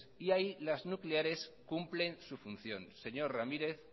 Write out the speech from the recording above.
y ahí las nucleares cumplen sus funciones señor ramírez